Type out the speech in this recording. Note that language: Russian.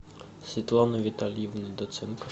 светлана витальевна доценко